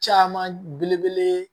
Caman belebele